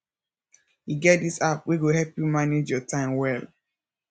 e get dis app wey go help you manage your time well